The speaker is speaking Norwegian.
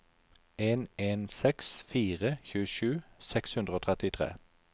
en en seks fire tjuesju seks hundre og trettitre